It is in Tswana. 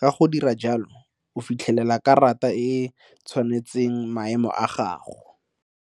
ka go dira jalo o fitlhelela karata e tshwanetseng maemo a gago.